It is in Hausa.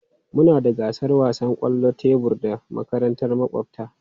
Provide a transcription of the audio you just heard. Muna da gasar wasan kwallon tebur da makarantar makwabta.